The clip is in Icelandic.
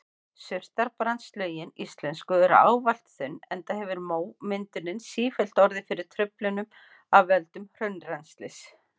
Surtarbrandslögin íslensku eru ávallt þunn enda hefur mómyndunin sífellt orðið fyrir truflunum af völdum hraunrennslis.